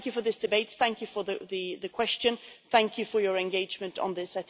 Thank you for this debate, thank you for the question and thank you for your engagement on this.